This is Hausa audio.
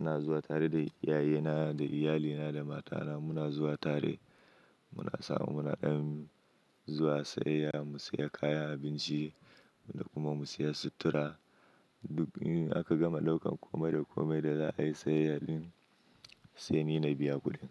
ina zuwa tare da iyaye na da iyali na da mata na muna zuwa tare. Muna samu munadan zuwa sayayya, mu siya kaya, abinci da kuma mu siya sutura. Duk in aka gama daukan komai da komai da za a yi sayayya din sai ni na biya kuɗin.